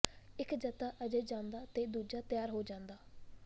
ਇੱਕ ਜਥਾ ਅਜੇ ਜਾਂਦਾ ਤੇ ਦੂਜਾ ਤਿਆਰ ਹੋ ਜਾਂਦਾ